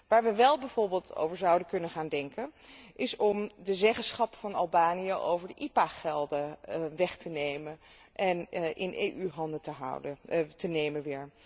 Waar wij wel bijvoorbeeld over zouden kunnen gaan denken is om de zeggenschap van Albanië over de IPA gelden weg te nemen en weer in EU handen te leggen.